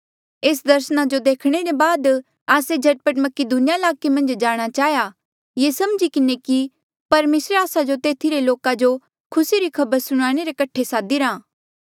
एस दर्सना जो देखणे ले बाद आस्से झट पट मकीदुनिया ईलाके मन्झ जाणा चाहेया ये समझी किन्हें कि परमेसरे आस्सा जो तेथी रे लोका जो खुसी री खबर सुणाणे रे कठे सादिरा